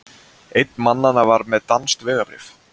Einn mannanna var með danskt vegabréf